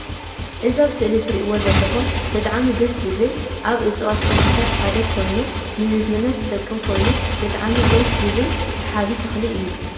እዚ ኣብ ስእሊ ትርእዎ ዘለኩም ብጣዐሚ ደስ ዝብል ካብ ኡፅዋት ተክሊታት ሓደ ኮይኑ ንምግብነት ዝጠቅም ኮይኑ ብጠዓሚ ደስ ዝብ ሳሓቢ ተክሊ እዩ።